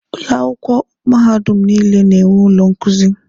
Ụlọ akwụkwọ mahadum niile na-enwe ụlọ nkuzi.